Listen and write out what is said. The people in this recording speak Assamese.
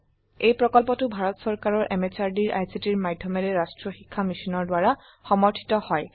এই প্ৰকল্পটো ভাৰত সৰকাৰৰ এমএচআৰডি এৰ আইসিটিৰ মাধ্যমেৰে জাতীয় শিক্ষা মিশন দ্বাৰা সমৰ্থিত